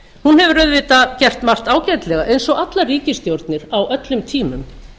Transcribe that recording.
hún hefur auðvitað gert margt ágætlega eins og allar ríkisstjórnir á öllum tímum